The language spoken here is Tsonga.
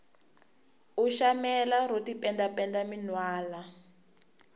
u shamela ro tipenda penda minwalo